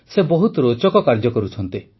ସେ ବହୁତ ରୋଚକ କାର୍ଯ୍ୟ କରୁଛନ୍ତି